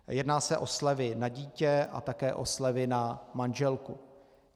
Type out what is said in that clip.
Jedná se o slevy na dítě a také o slevy na manželku.